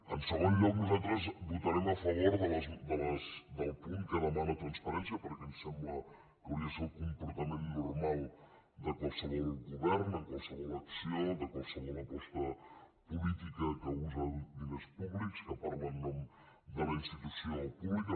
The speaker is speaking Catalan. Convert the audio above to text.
en segon lloc nosaltres votarem a favor del punt que demana transparència perquè ens sembla que hauria de ser el comportament normal de qualsevol govern en qualsevol acció de qualsevol aposta política que usa diners públics que parla en nom de la institució pública